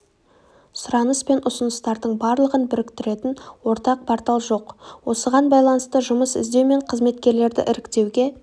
сұраныс пен ұсыныстардың барлығын біріктіретін ортақ портал жоқ осыған байланысты жұмыс іздеу мен қызметкерлерді іріктеуге